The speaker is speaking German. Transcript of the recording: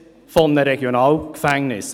Man spricht von einem Regionalgefängnis.